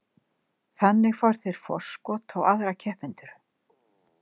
Þannig fá þeir forskot á aðra keppendur.